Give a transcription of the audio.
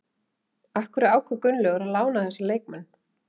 Af hverju ákvað Gunnlaugur að lána þessa leikmenn?